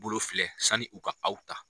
bolo filɛ sani u ka aw ta.